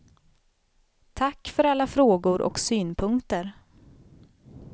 Tack för alla frågor och synpunkter.